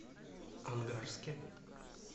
ангарске